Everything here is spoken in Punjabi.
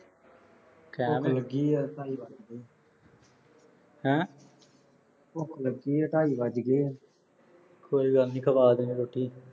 ਭੁੱਖ ਲੱਗੀ ਐ, ਢਾਈ ਵੱਜਗੇ ਹੈਂ। ਭੁੱਖ ਲੱਗੀ ਐ, ਢਾਈ ਵੱਜਗੇ। ਕੋਈ ਗੱਲ ਨੀਂ। ਖਵਾ ਦਿਆਂਗੇ ਰੋਟੀ।